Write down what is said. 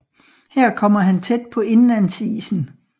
Her kom han tæt på indlandsisen